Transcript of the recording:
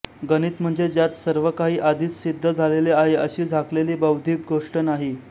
गणित म्हणजे ज्यांत सर्वकाही आधीच सिद्ध झालेले आहे अशी झाकलेली बौद्धिक गोष्ट नाही